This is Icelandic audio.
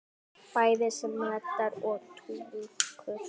Bæði sem reddari og túlkur!